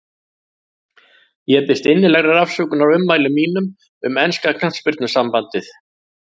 Ég biðst innilegrar afsökunar á ummælum mínum um enska knattspyrnusambandið.